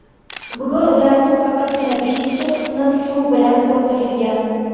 Bugun ularning faqatgina beshinchi qismi suv bilan to‘ldirilgan.